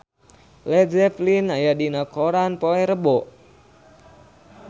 Led Zeppelin aya dina koran poe Rebo